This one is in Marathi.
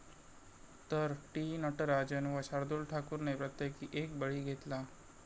तर, टी. नटराजन व शार्दुल ठाकूरने प्रत्येकी एक बळी घेतला.